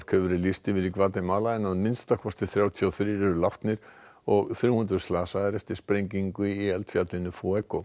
hefur verið lýst yfir í Gvatemala en að minnsta kosti þrjátíu og þrír eru látnir og þrjú hundruð slasaðir eftir sprengingu í eldfjallinu